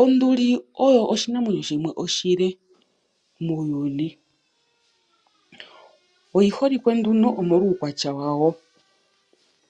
Onduli oyo oshinamwenyo shono oshile muuyuni. Oyiholike nduno omolwa uukwatya wayo.